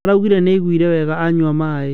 araugire nĩaiguire wega anyua maĩ